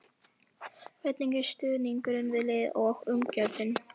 Hvernig er stuðningurinn við liðið og umgjörðin?